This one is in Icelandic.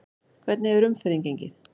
Hvernig hefur umferðin gengið?